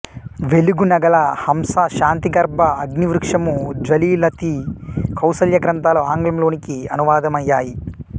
వెలుగు నగల హంస శాంతిగర్భ అగ్నివృక్షము జ్వలిత కౌసల్య గ్రంథాలు ఆంగ్లం లోనికి అనువాదమయ్యాయి